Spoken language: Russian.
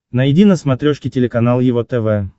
найди на смотрешке телеканал его тв